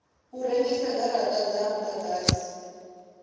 u rengisa garata dza mudagasi